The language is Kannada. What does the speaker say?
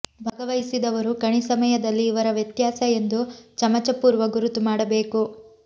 ಭಾಗವಹಿಸಿದವರು ಕಣಿ ಸಮಯದಲ್ಲಿ ಇವರ ವ್ಯತ್ಯಾಸ ಎಂದು ಚಮಚ ಪೂರ್ವ ಗುರುತು ಮಾಡಬೇಕು